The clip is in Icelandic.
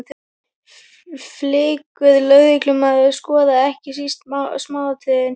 Flinkur lögreglumaður skoðar ekki síst smáatriðin.